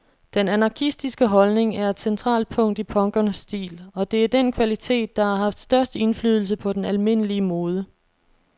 Den anarkistiske holdning er et centralt punkt i punkernes stil, og det er den kvalitet, der har haft størst indflydelse på den almindelige mode.